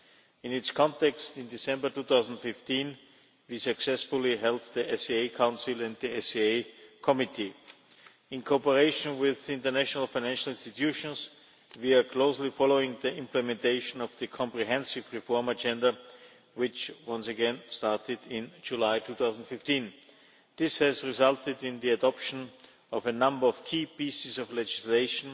In this context, in December 2015 we successfully held SAA Council and SAA Committee meetings. In cooperation with international financial institutions we are closely following the implementation of the comprehensive reform agenda, which once again started in July 2015. This has resulted in the adoption of a number of key pieces of legislation